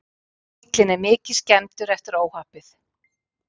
Bíllinn er mikið skemmdur eftir óhappið